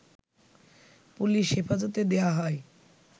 police হেফাজতে দেয়া হয়